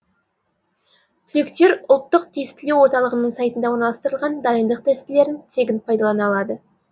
түлектер ұлттық тестілеу орталығының сайтында орналастырылған дайындық тестілерін тегін пайдалана алады